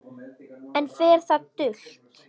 Enn fer það dult